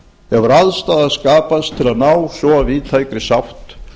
hefur aðstaða skapast til að ná svo víðtækri sátt